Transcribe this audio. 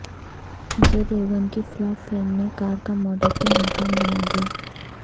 اجے دیوگن کی flop film نے car کا ماڈل بھی ناکام بنادیا